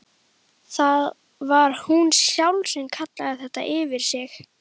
Það var hún sjálf sem kallaði þetta yfir sig.